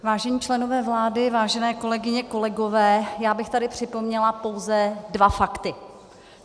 Vážení členové vlády, vážené kolegyně, kolegové, já bych tady připomněla pouze dva fakty.